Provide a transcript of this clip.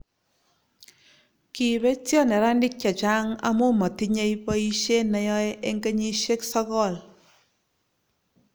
kibotio neranik che chang' amu matinyei boisie ne yoe eng' kenyisiek sokol